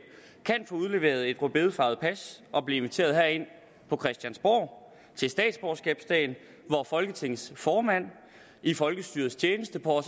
kan få udleveret et rødbedefarvet pas og blive inviteret herind på christiansborg til statsborgerskabsdagen hvor folketingets formand i folkestyrets tjeneste på